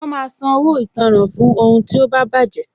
Wọn máa san owó ìtanràn fún ohun tí ó bá baje